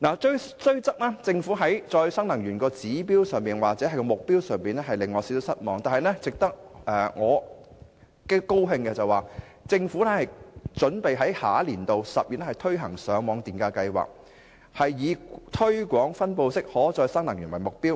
雖然政府在再生能源的指標或目標上令我有點失望，但值得高興的是，政府準備在下年度10月推行上網電價計劃，以推廣分布式可再生能源為目標。